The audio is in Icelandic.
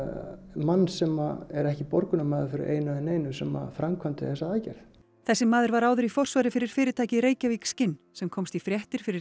mann sem er ekki borgunarmaður fyrir einu eða neinu sem framkvæmdi þessa aðgerð þessi maður var áður í forsvari fyrir fyrirtækið skin sem komst í fréttir fyrir